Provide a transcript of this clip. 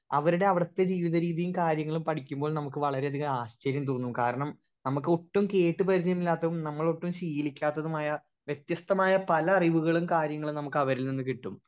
Speaker 1 അവരുടെ അവിടത്തെ ജീവിത രീതിയും കാര്യങ്ങളും പഠിക്കുമ്പോൾ നമ്മുക്ക് വളരെയധികം ആശ്ചര്യം തോന്നും കാരണം നമ്മുക്ക് ഒട്ടും കേട്ട് പരിചയമില്ലാത്തതും നമ്മൾ ഒട്ടും ശീലിക്കാത്തതുമായ വെത്യസ്തമായ പല അറിവുകളും കാര്യങ്ങളും നമ്മുക്ക് അവരിൽ നിന്നും കിട്ടും.